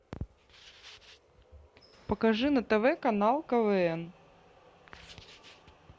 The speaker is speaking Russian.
покажи на тв канал квн